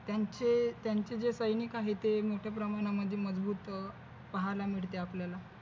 म्हणजे त्यांचे त्यांचे जे सैनिक आहेत ते मोठ्या प्रमाणामध्ये मजबूत अह पाहायला मिळते आपल्याला